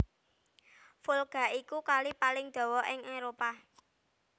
Volga iku Kali paling dawa ing Éropah